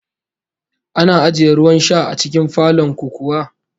Ana ajiye ruwan sha a cikin falon ku kuwa?